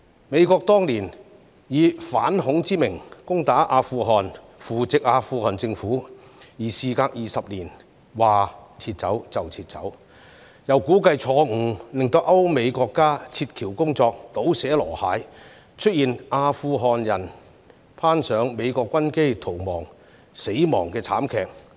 美國當年以反恐之名攻打阿富汗，扶植阿富汗政府，而事隔20年說撤走便撤走，又估計錯誤，令歐美國家撤僑工作"倒瀉籮蟹"，出現阿富汗人攀上美國軍機逃亡時死亡的慘劇。